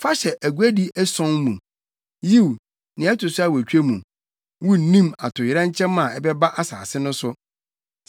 Fa hyɛ aguadi ason mu, yiw, nea ɛto so awotwe mu, wunnim atoyerɛnkyɛm a ɛbɛba asase no so.